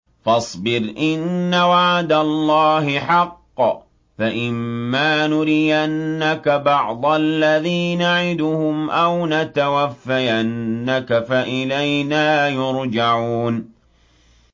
فَاصْبِرْ إِنَّ وَعْدَ اللَّهِ حَقٌّ ۚ فَإِمَّا نُرِيَنَّكَ بَعْضَ الَّذِي نَعِدُهُمْ أَوْ نَتَوَفَّيَنَّكَ فَإِلَيْنَا يُرْجَعُونَ